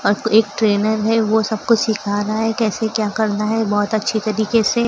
एक ट्रेनर है वो सब कुछ सीखा रहा है कैसे क्या करना है बहुत अच्छे तरीके से।